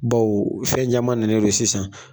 Bawo fɛn caman nannen non sisan